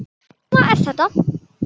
Svona er þetta.